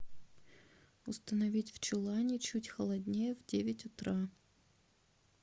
установить в чулане чуть холоднее в девять утра